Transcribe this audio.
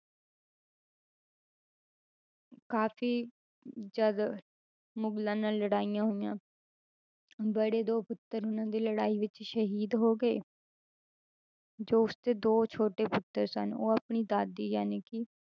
ਕਾਫ਼ੀ ਅਮ ਜਦ ਮੁਗਲਾਂ ਨਾਲ ਲੜਾਈਆਂ ਹੋਈਆਂ ਬੜੇ ਦੋ ਪੁੱਤਰ ਉਹਨਾਂ ਦੇ ਲੜਾਈ ਵਿੱਚ ਸ਼ਹੀਦ ਹੋ ਗਏ ਜੋ ਉਸਦੇ ਦੋ ਛੋਟੇ ਪੁੱਤਰ ਸਨ ਉਹ ਆਪਣੀ ਦਾਦੀ ਜਾਣੀਕਿ